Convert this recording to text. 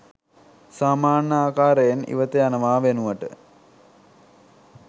සාමාන්‍ය ආකාරයෙන් ඉවත යනවා වෙනුවට